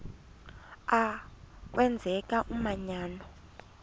a kwenzeka umanyano